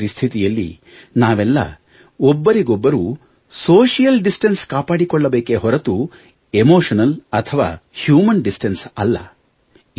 ಇಂತಹ ಪರಿಸ್ಥಿತಿಯಲ್ಲಿ ನಾವೆಲ್ಲ ಒಬ್ಬರಿಗೊಬ್ಬರು ಸೋಶಿಯಲ್ ಡಿಸ್ಟನ್ಸ್ ಕಾಪಾಡಿ ಕೊಳ್ಳಬೇಕೇ ಹೊರತು ಎಮೋಷನಲ್ ಅಥವಾ ಹ್ಯೂಮನ್ ಡಿಸ್ಟನ್ಸ್ ಅಲ್ಲ